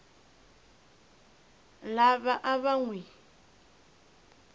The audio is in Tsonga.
lava a va n wi